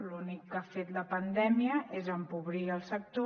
l’únic que ha fet la pandèmia és empobrir el sector